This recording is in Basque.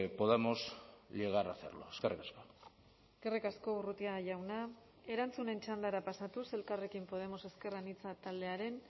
podamos llegar a hacerlo eskerrik asko eskerrik asko urrutia jauna erantzunen txandara pasatuz elkarrekin podemos ezker anitza taldearen